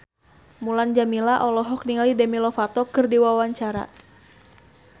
Mulan Jameela olohok ningali Demi Lovato keur diwawancara